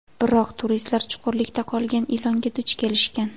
Biroq, turistlar chuqurlikda qolgan ilonga duch kelishgan.